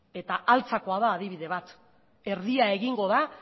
eta altzakoa da adibide bat erdia egingo da